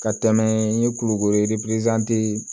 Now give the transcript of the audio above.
Ka tɛmɛ n ye kulukoro